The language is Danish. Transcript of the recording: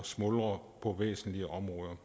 smuldre på væsentlige områder